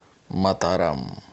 матарам